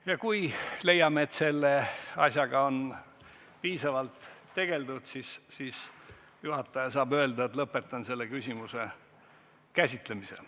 Ja kui leiame, et selle asjaga on juba piisavalt tegeldud, saab juhataja öelda, et ta lõpetab selle küsimuse käsitlemise.